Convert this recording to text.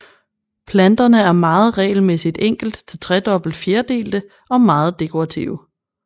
Planterne er meget regelmæssigt enkelt til tredobbet fjerdelte og meget dekorative